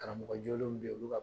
Karamɔgɔ jolenw be yen olu